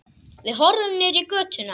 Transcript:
Við horfum niður í götuna.